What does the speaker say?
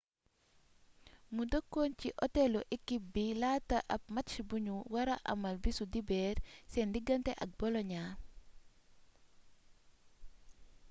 mu dëkkoon ci otelu ekip bi laata ab match buñu wara amal bisu dibeer seen digante ak boloña